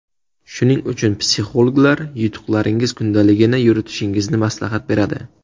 Shuning uchun psixologlar yutuqlaringiz kundaligini yuritishingizni maslahat beradi.